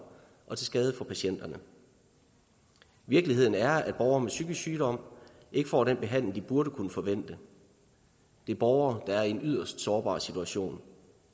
og til skade for patienterne virkeligheden er at borgere med psykisk sygdom ikke får den behandling de burde kunne forvente det er borgere der er i en yderst sårbar situation